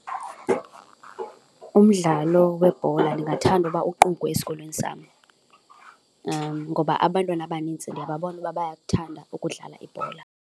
Umdlalo webhola ndingathanda ukuba ukuqukwe esikolweni sam ngoba abantwana abanintsi ndiyababona uba bayakuthanda ukudlala ibhola.